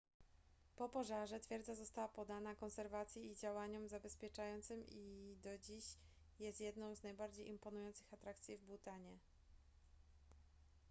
po pożarze twierdza została poddana konserwacji i działaniom zabezpieczającym i do dziś jest jedną z najbardziej imponujących atrakcji w bhutanie